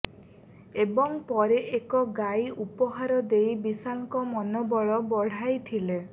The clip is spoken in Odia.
ଏବଂ ପରେ ଏକ ଗାଈ ଉପହାର ଦେଇ ବିଶାଲଙ୍କ ମନୋବଳ ବଢାଇଥିଲେ